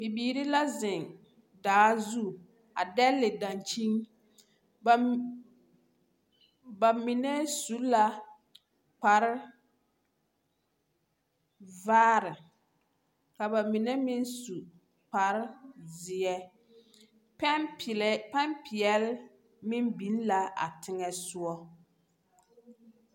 Bibiiri la zeŋ daa zu a dɛle dankyin. Bam, ba mine su la kpar vaare, ka ba mine meŋ su kpar zeɛ. Pɛmpelɛɛ pempeɛl meŋ biŋ la a teŋɛ soɔ.